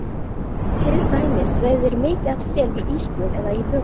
Til dæmis veiða þeir mikið af sel við ísbrún eða í vökum.